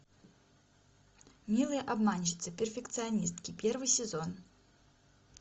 милые обманщицы перфекционистки первый сезон